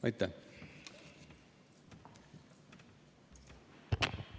Aitäh!